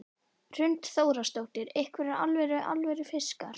Hrund Þórsdóttir: Einhverjir alvöru, alvöru fiskar?